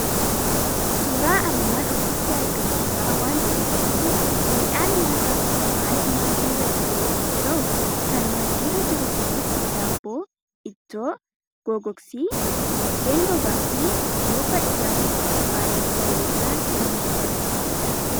Suuraa armaan olitti argamu irraa waanti mul'atu; miidhaan nyaataaf qophaa'e maaddirra jiru yommuu ta'u, kan maaddira jiru kunis daabboo, ittoo gogagosi, buddeen gogaafi bookaa dhugaatif qophaa'eeru ta'uu isaa kan nutti agarsiisudha.